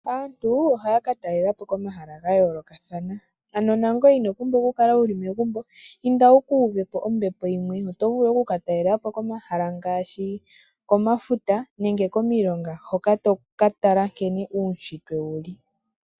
Aantu oha yaka talelapo komahala ga yoolokathana ano nangoye ino pumbwa okukala wu li megumbo inda wu kuuvepo ombepo yimwe oto vulu okukatalelapo komahala ngaashi komafuta nenge komilonga hoka toka tala uunshitwe sho wu li.